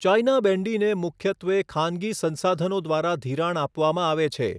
China બેન્ડીને મુખ્યત્વે ખાનગી સંસાધનો દ્વારા ધિરાણ આપવામાં આવે છે.